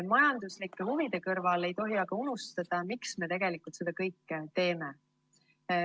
Majanduslike huvide kõrval ei tohi aga unustada, miks me tegelikult seda kõike teeme.